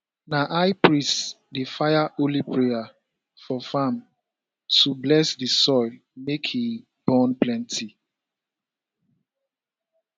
na high priest dey fire holy prayers for farm to bless di soil make e born plenty